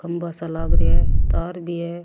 खम्भा सा लाग रिया है तार भी है।